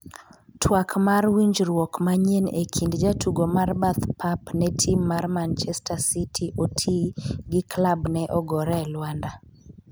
twak mar winjruok manyien e kind jatugo mar bath pap ne tim mar manchester city Otii gi klabne ogore e lwanda